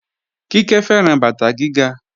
Kíkẹ́ fẹ́ràn bàtà gíga